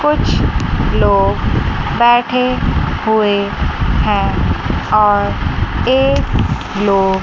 कुछ लोग बैठे हुए हैं और एक लो--